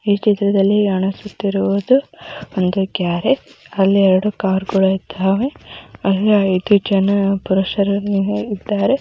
ಈ ಚಿತ್ರದಲ್ಲಿ ಒಂದು ಗ್ಯಾರೇಜು ಅಲ್ಲಿ ಕಾರುಗಳು ಇದ್ದವೇ.. ಅಲ್ಲಿ ಐದು ಜನ ಪುರುಷರು ಇದ್ದಾರೆ .